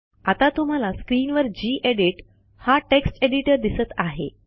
आता तुम्हाला स्क्रीनवर जी एडिट हा टेक्स्ट एडिटर दिसत आहे